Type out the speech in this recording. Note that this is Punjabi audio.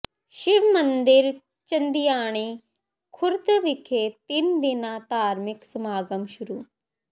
ਸ਼ਿਵ ਮੰਦਿਰ ਚੰਦਿਆਣੀ ਖ਼ੁਰਦ ਵਿਖੇ ਤਿੰਨ ਦਿਨਾ ਧਾਰਮਿਕ ਸਮਾਗਮ ਸ਼ੁਰੂ